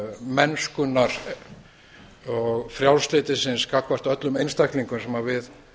mennskunnar frjálslyndisins gagnvart öllum einstaklingum sem við